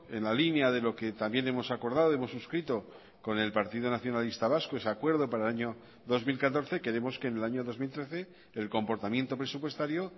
en la línea de lo que también hemos acordado hemos suscrito con el partido nacionalista vasco ese acuerdo para el año dos mil catorce queremos que en el año dos mil trece el comportamiento presupuestario